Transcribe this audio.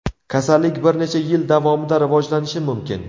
Kasallik bir necha yil davomida rivojlanishi mumkin.